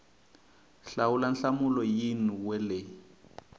hlawula nhlamulo yin we leyi